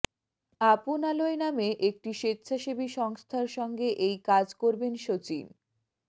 আপনালয় নামে একটি স্বেচ্ছাসেবী সংস্থার সঙ্গে এই কাজ করবেন সচিন